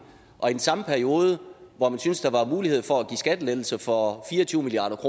samme periode hvor man syntes der var mulighed for at give skattelettelser for fire og tyve milliard